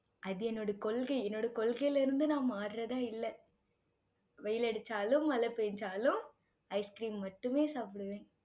அது என்னோட கொள்கை, என்னோட கொள்கையில இருந்து நான் மாறுறதா இல்லை. வெயில் அடிச்சாலும், மழை பெய்ஞ்சாலும், ice cream மட்டுமே சாப்பிடுவேன்